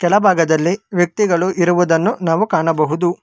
ಆ ಭಾಗದಲ್ಲಿ ವ್ಯಕ್ತಿಗಳು ಇರುವುದನ್ನು ನಾವು ಕಾಣಬಹುದು.